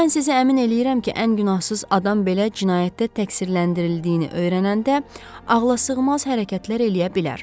Mən sizi əmin eləyirəm ki, ən günahsız adam belə cinayətdə təqsirləndirildiyini öyrənəndə ağlasığmaz hərəkətlər eləyə bilər.